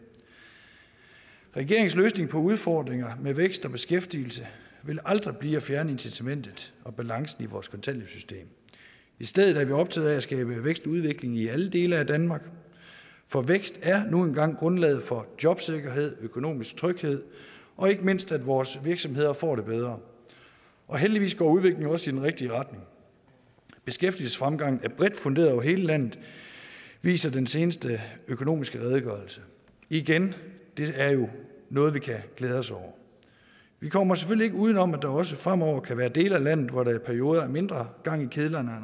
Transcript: regeringens løsning på udfordringer med vækst og beskæftigelse vil aldrig blive at fjerne incitamentet og balancen i vores kontanthjælpssystem i stedet er vi optaget af at skabe vækst og udvikling i alle dele af danmark for vækst er nu engang grundlaget for jobsikkerhed økonomisk tryghed og ikke mindst for at vores virksomheder får det bedre og heldigvis går udviklingen også i den rigtige retning beskæftigelsesfremgangen er bredt funderet over hele landet viser den seneste økonomiske redegørelse igen det er jo noget vi kan glæde os over vi kommer selvfølgelig ikke uden om at der også fremover kan være dele af landet hvor der i perioder er mindre gang i kedlerne